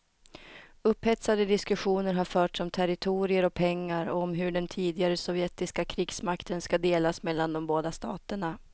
Upphetsade diskussioner har förts om territorier och pengar och om hur den tidigare sovjetiska krigsmakten ska delas mellan de båda staterna.